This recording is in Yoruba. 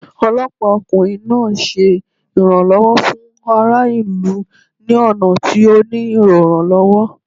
Ọlọpa okunrin naa ṣe iranlọwọ fun ara ilu ni ọna ti o nilo iranlọwọ.